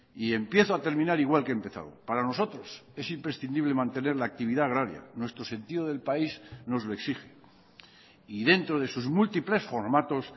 y empiezo a terminar igual que he empezado para nosotros es imprescindible mantener la actividad agraria nuestro sentido del país nos lo exige y dentro de sus múltiples formatos